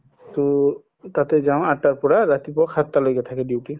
ট তাতে যাও ৰাতিপুৱা আঠ পৰা ৰাতিপুৱা সাততা লৈকে থাকে duty